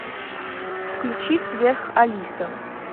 включи сверх алиса